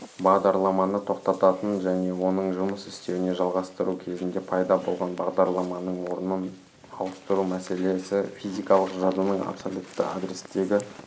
бағдарламаны тоқтататын және оның жұмыс істеуін жалғастыру кезінде пайда болған бағдарламаның орнын ауыстыру мәселесі физикалық жадының абсолютті адрестегі